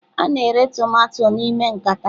A na-ere tomato n'ime nkata.